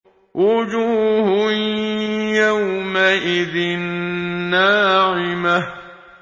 وُجُوهٌ يَوْمَئِذٍ نَّاعِمَةٌ